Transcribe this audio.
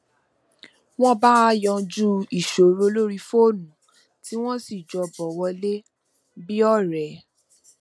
wón bá a yanjú ìṣòro lórí fónù tí wọn sì tún jọ bọ wọlé bí ọrẹ